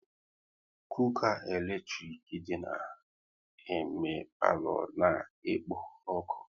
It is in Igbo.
Cooka eletrik na eme palo ọ na-ekpo ọkụ